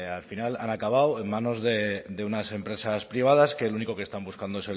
al final han acabado en manos de unas empresas privadas que lo único que están buscando